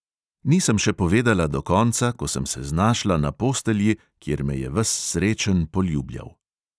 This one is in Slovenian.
Nisem še povedala do konca, ko sem se znašla na postelji, kjer me je ves srečen poljubljal.